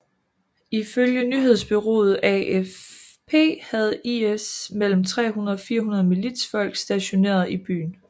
Ifølge nyhedsbureauet AFP havde IS mellem 300 og 400 militsfolk stationerede i byen